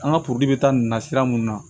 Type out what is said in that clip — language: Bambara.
An ka bɛ taa nin na sira mun na